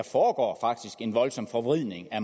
foregår en voldsom forvridning af